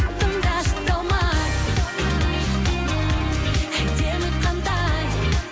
тыңдашы талмай әдемі қандай